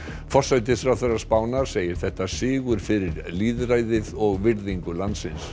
forsætisráðherra Spánar segir þetta sigur fyrir lýðræðið og virðingu landsins